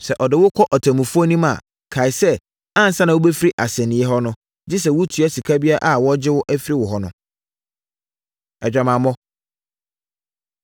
Sɛ ɔde wo kɔ ɔtemmufoɔ anim a, kae sɛ, ansa na wobɛfiri asɛnniiɛ hɔ no, gye sɛ woatua sika biara a wɔregye afiri wo hɔ no. Adwamammɔ